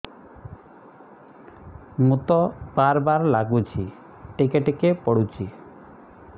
ମୁତ ବାର୍ ବାର୍ ଲାଗୁଚି ଟିକେ ଟିକେ ପୁଡୁଚି